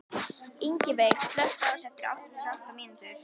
Ingiveig, slökktu á þessu eftir áttatíu og átta mínútur.